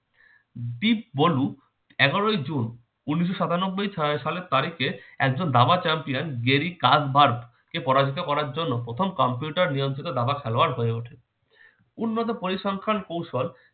big bolu এগারোই জুন উনিশশো সাতানব্বই সা সালের তারিখে একজন দাবা champion gerry carbar কে পরাজিত করার জন্য প্রথম computer নিয়ন্ত্রিত দাবা খেলোয়াড় হয়ে ওঠে। উন্নত পরিসংখ্যান কৌশল